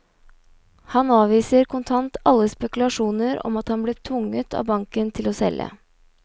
Han avviser kontant alle spekulasjoner om at han ble tvunget av banken til å selge.